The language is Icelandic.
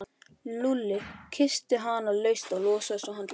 Lúlli kyssti hana laust og losaði svo handleggina.